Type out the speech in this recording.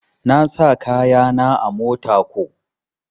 Na sa kaya na a mota ko.